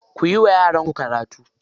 Kuyi wa yaran karatu.